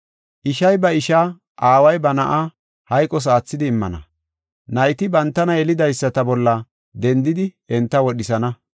“Ishay ba isha, aaway ba na7a, hayqos aathidi immana, nayti bantana yelidaysata bolla dendidi enta wodhisana.